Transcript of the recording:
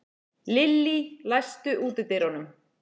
Lillý, læstu útidyrunum.